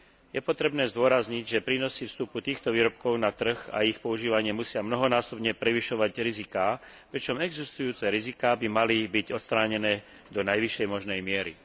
Je potrebné zdôrazniť, že prínosy vstupu týchto výrobkov na trh a ich používanie musia mnohonásobne prevyšovať riziká, pričom existujúce riziká by mali byť odstránené do najvyššej možnej miery.